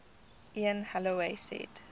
ian holloway said